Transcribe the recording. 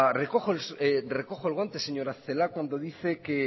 recojo el guante señora celaá cuando dice que